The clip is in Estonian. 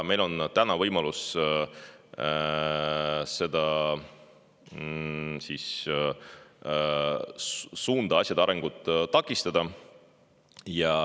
Meil on täna võimalus seda suunda, sellist asjade arengut takistada.